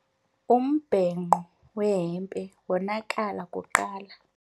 Umbhenqo wehempe wonakala kuqala.